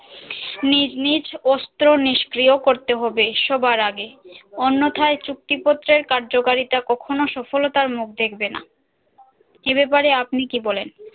নিজ নিজ অস্ত্র নিষ্ক্রিয় করতে হবে সবার আগে অন্যথায় চুক্তিপত্রের কার্যকারিতা কখনো সফলতার মুখ দেখবেনা এ বাপারে আপনি কি বলেন